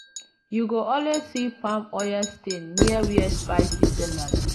you go always see palm oil stain near where spice sellers dey.